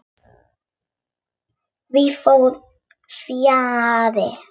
Því fór fjarri.